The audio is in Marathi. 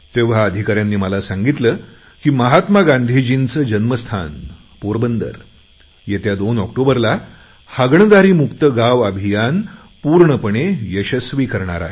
तेव्हा अधिकाऱ्यांनी मला सांगितले की महात्मा गांधीजींचे जन्मस्थान पोरबंदर येत्या दोन ऑक्टोबरला हागणदारी मुक्त गाव अभियान पूर्णपणे यशस्वी करणार आहे